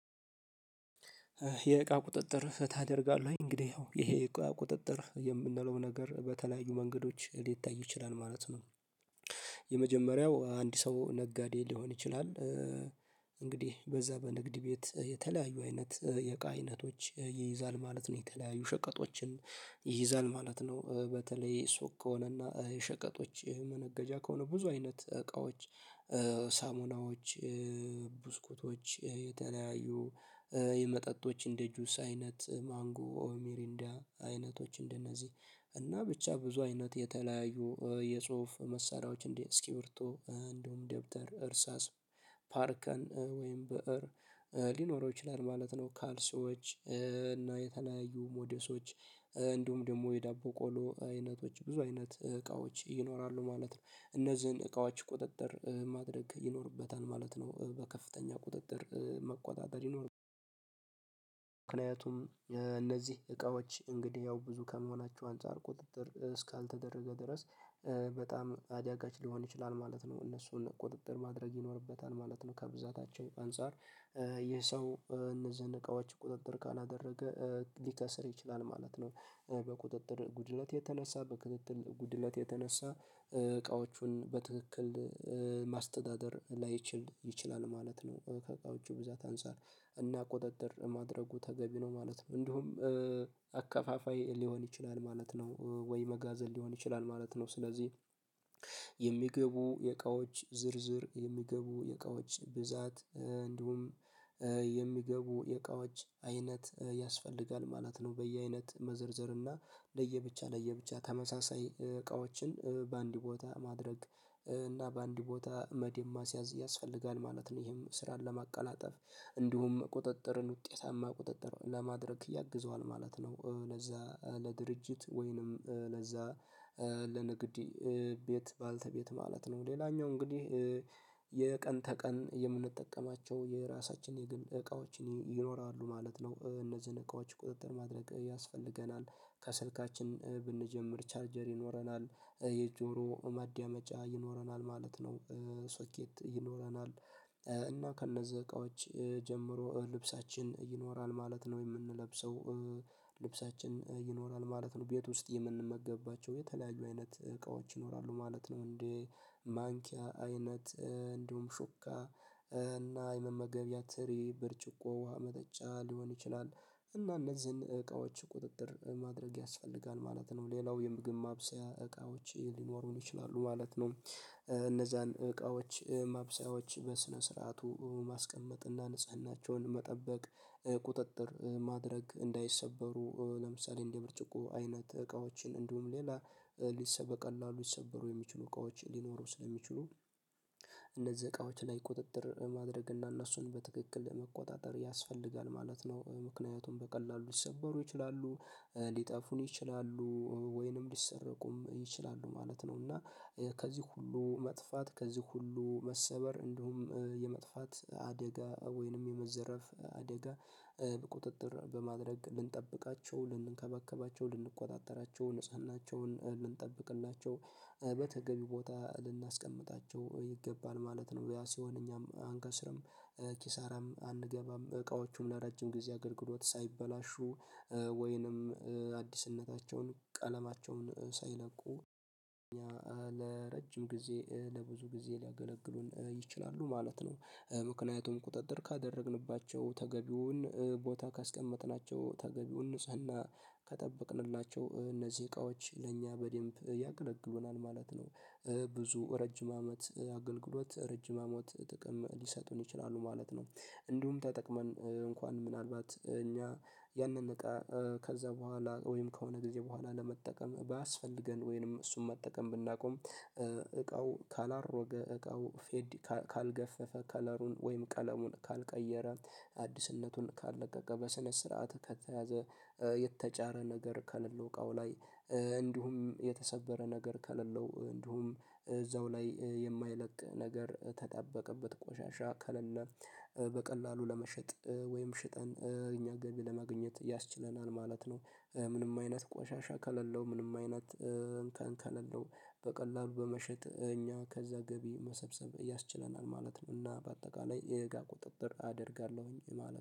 የእቃ ቁጥጥር ታደርጋለህ እንግዲህ ይሄ የእቃ ቁጥጥር የምንለው ነገር በተለያዩ መንገዶች ሊታይ ይችላል ማለት ነው። የመጀመሪያው አንድ ሰው ነጋዴ ሊሆን ይችላል። እንግዲህ በዛ በንግድ ቤት የተለያዩ አይነት የእቃ አይነቶች ይይዛል ማለት ነው የተለያዩ ሸቀጦችን ይይዛል ማለት ነው። በተለይ ሱቅ ከሆነና ሸቀጦች መነገጃ ከሆነ ብዙ አይነት እቃዎች ሳሙናዎች ቡስኩቶች የተለያዩ የመጠጦች እንደ ጁስ አይነት ማንጎ ኦር ሚሪንዳ አይነቶች እንደነዚህ እና ብቻ ብዙ አይነት የተለያየ የጽሁፍ መሳሪያዎች እንዲህ እስኪብርቶ እንደውም ደብተር እርሳስ ፓርከር ወይም ብእር ሊኖረው ይችላል ማለት ነው። ካልሲዎች እና የተለያዩ ሞዴሶች እንዲሁም ደግሞ የዳቦ ቆሎ አይነቶች ብዙ አይነት እቃዎች ይኖራሉ ማለት ነው። እነዚህን እቃዎች ቁጥጥር ማድረግ ይኖርበታል ማለት ነው። በከፍተኛ ቁጥጥር መቆጣጠር ይኖርበታል። ምክንያቱም እነዚህ እቃዎች እንግዲህ ያው ብዙ ከመሆናቸው አንፃር ቁጥጥር እስካልተደረገ ድረስ በጣም አዳጋች ሊሆን ይችላል ማለት ነው። እነሱን ቁጥጥር ማድረግ ይኖርበታል ማለት ነው። ከብዛታቸው አንፃር ይህ ሰው እነዚህን እቃዎች ቁጥጥር ካላደረገ ሊከስር ይችላል ማለት ነው። በቁጥጥር ጉድለት የተነሳ በክትትል ጉድለት የተነሳ እቃዎቹን በትክክል ማስተዳደር ላይችል ይችላል ማለት ነው። ከእቃዎቹ ብዛት አንፃር እና ቁጥጥር ማድረጉ ተገቢ ነው ማለት ነው። እንዲሁም አከፋፋይ ሊሆን ይችላል ማለት ነው ወይ መጋዘን ሊሆን ይችላል ማለት ነው። ስለዚህ የሚገቡ የእቃዎች ዝርዝር የሚገቡ የእቃዎች ብዛት እንዲሁም የሚገቡ የእቃዎች አይነት ያስፈልጋል ማለት ነው። በየአይነት መዘርዘር እና ለየብቻ ለየብቻ ተመሳሳይ እቃዎችን በአንድ ቦታ ማድረግ እና በአንድ ቦታ መደብ ማስያዝ ያስፈልጋል ማለት ነው። ይሄም ስራን ለማቀላጠፍ እንዲሁም ቁጥጥርን ውጤታማ ቁጥጥር ለማድረግ ያግዘዋል ማለት ነው። ለዛ ለድርጅት ወይንም ለዛ ለንግድ ቤት ባለቤት ማለት ነው። ሌላኛው እንግዲህ የቀን ተቀን የምንጠቀማቸው የራሳችን የግል እቃዎችን ይኖራሉ ማለት ነው። እነዚህን እቃዎች ቁጥጥር ማድረግ ያስፈልገናል ከስልካችን ብንጀምር ቻርጀር ይኖረናል የጆሮ ማዳመጫ ይኖረናል ማለት ነው። ሶኬት ይኖረናል እና ከነዚህ እቃዎች ጀምሮ ልብሳችን ይኖራል ማለት ነው። የምንለብሰው ልብሳችን ይኖራል ማለት ነው። ቤት ውስጥ የምንመገብባቸው የተለያዩ አይነት እቃዎች ይኖራሉ ማለት ነው። እንዴ ማንኪያ አይነት እንዲሁም ሹካ እና የመመገቢያ ትሪ ብርጭቆ ውሃ መጠጫ ሊሆን ይችላል እና እነዚህን እቃዎች ቁጥጥር ማድረግ ያስፈልጋል ማለት ነው። ሌላው የምግብ ማብሰያ እቃዎች ሊኖሩን ይችላሉ ማለት ነው። እነዛን እቃዎች ማብሰያዎች በስነ ስርዓቱ ማስቀመጥና ንጽህናቸውን መጠበቅ ቁጥጥር ማድረግ እንዳይሰበሩ ለምሳሌ እንደ ብርጭቆ አይነት እቃዎችን እንዲሁም ሌላ በቀላሉ ይሰበሩ የሚችሉ እቃዎች ሊኖሩ ስለሚችሉ። እነዚህ እቃዎች ላይ ቁጥጥር ማድረግ እና እነሱን በትክክል ለመቆጣጠር ያስፈልጋል ማለት ነው። ምክንያቱም በቀላሉ ሊሰበሩ ይችላሉ ሊጠፉን ይችላሉ ወይንም ሊሰረቁም ይችላሉ ማለት ነው። እና ከዚህ ሁሉ መጥፋት ከዚህ ሁሉ መሰበር እንዲሁም የመጥፋት አደጋ ወይንም የመዘረፍ አደጋ ቁጥጥር በማድረግ ልንጠብቃቸው ልንከባከባቸው ልንቆጣጠራቸው ንጽህናቸውን ልንጠብቅላቸው በተገቢ ቦታ ልናስቀምጣቸው ይገባል ማለት ነው። ያ ሲሆን እኛም አንከስርም ኪሳራም አንገባም እቃዎቹም ለረጅም ጊዜ አገልግሎት ሳይበላሹ ወይንም አዲስነታቸውን ቀለማቸውን ሳይለቁ ለረጅም ጊዜ ለብዙ ጊዜ ሊያገለግሉን ይችላሉ ማለት ነው። ምክንያቱም ቁጥጥር ካደረግንባቸው ተገቢውን ቦታ ካስቀመጥናቸው ተገቢውን ንጽህና ከጠበቅንላቸው እነዚህ እቃዎች ለእኛ በደንብ ያገለግሉናል ማለት ነው። ብዙ ረጅም አመት አገልግሎት ረጅም አመት ጥቅም ሊሰጡን ይችላሉ ማለት ነው። እንዲሁም ተጠቅመን እንኳን ምናልባት እኛ ያንን እቃ ከዛ በኋላ ከሆነ ጊዜ በኋላ ለመጠቀም ባያስፈልገን ወይንም እሱን መጠቀም ብናቆም እቃው ካላረጀ እቃው ፌድ ካልገፈፈ ከለሩን ወይም ቀለሙን ካልቀየረ አዲስነቱን ካልለቀቀ በስነ ስርዓት ከተያዘ የተጫረ ነገር ከሌለው ቃው ላይ እንዲሁም የተሰበረ ነገር ከሌለው እንዲሁም እዛው ላይ የማይለቅ ነገር የተጣበቀበት ቆሻሻ ከሌለ በቀላሉ ለመሸጥ ወይም ሽጠን እኛ ገቢ ለማግኘት ያስችለናል ማለት ነው። ምንም አይነት ቆሻሻ ከሌለው ምንም አይነት እንከን ከሎለው በቀላሉ በመሸጥ እኛ ከዛ ገቢ መሰብሰብ ያስችለናል ማለት ነው። እና በአጠቃላይ የእቃ ቁጥጥር አደርጋለሁኝ ማለት